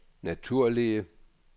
naturlige